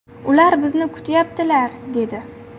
Ular bizni kutayaptilar” dedi.